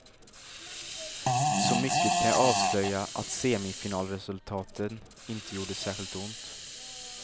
Så mycket kan jag avslöja att semifinalresultaten inte gjorde särskilt ont.